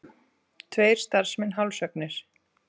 Tveir starfsmenn hálshöggnir